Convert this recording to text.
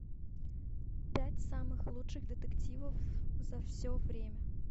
пять самых лучших детективов за все время